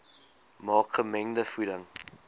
maak gemengde voeding